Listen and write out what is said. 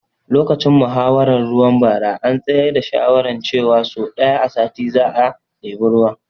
Lokacin muhawaran ruwa bara an tsayar da shawaran ce wa so ɗaya a sati za a ɗebi ruwa